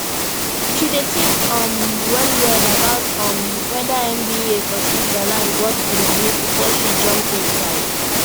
she dey think um wellwell about um wether mba for switzerland worth the money before she jump inside